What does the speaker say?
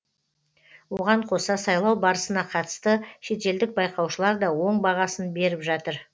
оған қоса сайлау барысына қатысты шетелдік байқаушылар да оң бағасын беріп жатыр